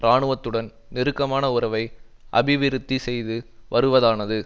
இராணுவத்துடன் நெருக்கமான உறவை அபிவிருத்தி செய்து வருவதானது